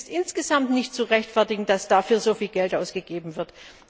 Es ist insgesamt nicht zu rechtfertigen, dass dafür so viel Geld ausgegeben wird.